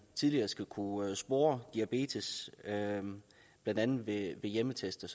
tidligere skal kunne spore diabetes blandt andet ved hjemmetest og